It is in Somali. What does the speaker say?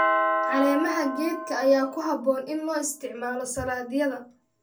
Caleemaha geedka ayaa ku habboon in loo isticmaalo saladhyada.